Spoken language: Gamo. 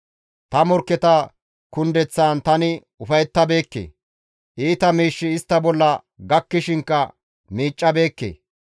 «Ta morkketa kundeththaan tani ufayettabeekke; iita miishshi istta bolla gakkishinkka miiccabeekke.